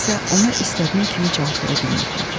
Mən isə ona istədiyim kimi cavab verə bilmirdim.